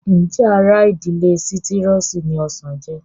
Ǹjẹ́ ara ìdílé sítírọ́ọ̀sì ni ọsàn jẹ́?